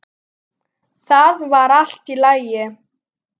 Það var allt í lagi.